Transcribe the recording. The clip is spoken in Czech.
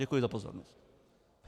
Děkuji za pozornost.